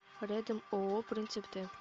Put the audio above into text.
рядом ооо принцип т